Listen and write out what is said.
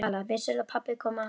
Vissirðu að pabbi kom að honum?